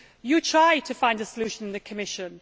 You tried to find a solution in the Commission.